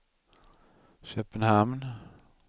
Köpenhamn